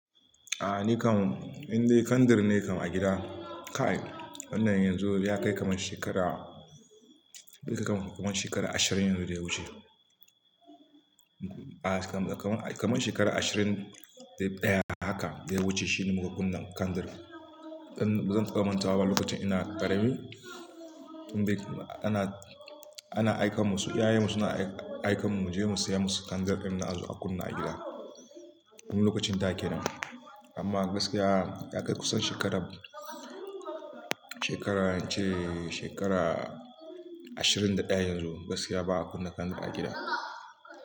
Ah! Ni kam, in dai kandir ne kam a gida kai! Wannan yanzu ya kai kamar shekara, ya kai kamar shekara ashirin yanzu da ya wuce. Kamar shekara ashirin da ɗaya haka da ya wuce shine muka kunna kyandir. Inban manta ba lokacin ina ƙarami, tun da yake ana, ana aikarmu iyayen mu suna aikenmu muje mu saya musu kyandir ɗinnan azo a kunna a gida. Tun lokacin da kenan, amma gaskiya ya kai kusan shekara, shekara ashirin da ɗaya yanzu gaskiya ba'a kunna kyandir a gida.